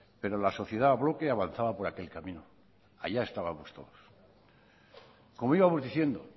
pero la sociedad a bloque avanzaba por aquel camino allá estábamos todos como íbamos diciendo